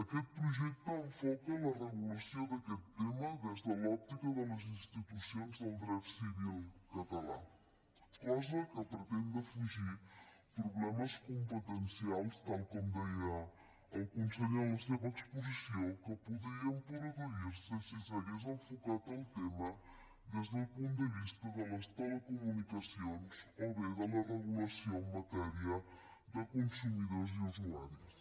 aquest projecte enfoca la regulació d’aquest tema des de l’òptica de les institucions del dret civil català cosa que pretén defugir problemes competencials tal com deia el conseller en la seva exposició que podrien produir se si s’hagués enfocat el tema des del punt de vista de les telecomunicacions o bé de la regulació en matèria de consumidors i usuaris